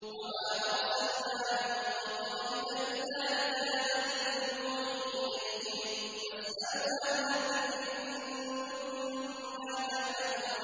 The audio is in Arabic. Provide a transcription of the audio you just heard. وَمَا أَرْسَلْنَا مِن قَبْلِكَ إِلَّا رِجَالًا نُّوحِي إِلَيْهِمْ ۚ فَاسْأَلُوا أَهْلَ الذِّكْرِ إِن كُنتُمْ لَا تَعْلَمُونَ